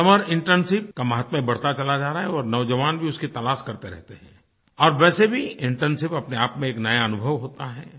summer internship का माहात्म्य बढ़ता चला जा रहा है और नौज़वान भी उसकी तलाश करते रहते हैं और वैसे भी इंटर्नशिप अपने आप में एक नया अनुभव होता है